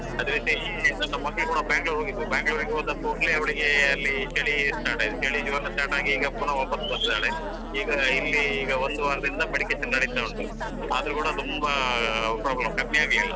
ಅದೇ ರೀತಿ ನನ್ನ ಮಗಳು ಕೂಡ Bangalore ಹೋಗಿದ್ಲು Bangalore ಹೋದ ಕೂಡ್ಲೆ ಅವಳಿಗೆ ಅಲ್ಲಿ ಚಳಿ start ಆಯಿತ್. ಚಳಿ ಜ್ವರ start ಆಗಿ ಈಗ ಪುನಃ ವಾಪಾಸ್ ಬಂದಿದಾಳೆ. ಈಗ ಇಲ್ಲಿ ಈಗ ಒಂದು ವಾರದಿಂದ medication ನಡಿತಾ ಉಂಟು ಅದ್ರೂ ಕೂಡ ತುಂಬಾ problem ಕಮ್ಮಿ ಆಗ್ಲಿಲ್ಲಾ.